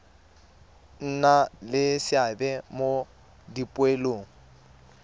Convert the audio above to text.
nna le seabe mo dipoelong